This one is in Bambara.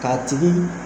K'a tigi